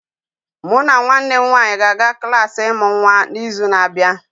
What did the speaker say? Mụ na nwanne m nwanyị ga-aga klas ịmụ nwa n'izu na-abịa